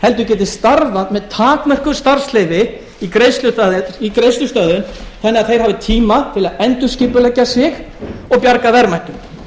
heldur geti starfað með takmörkuðu starfsleyfi í greiðslustöðvun þannig að þeir hafi tíma til að endurskipuleggja sig og bjarga verðmætum